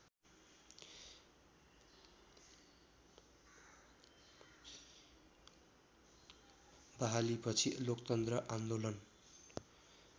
बहालीपछि लोकतन्त्र आन्दोलन